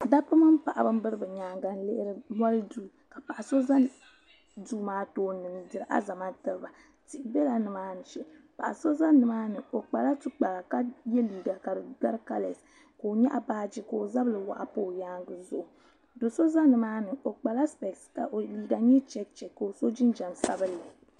dabba mini paɣaba n biri bi nyaanga n lihiri bolli duu ka paɣa so ʒɛ duu maa tooni n diri alizama tiriba tihi biɛla nimaani shee paɣa so ʒɛ nimaani o kpala tikpara ka yɛ liiga ka di gabi kalɛs ka o nyaɣa baaji ka o zabiri waɣa pa o nyaangi zuɣu do so ʒɛ nimaani o kpala spɛs ka o liiga nyɛ chɛkchɛk ka o so jinjɛm sabinli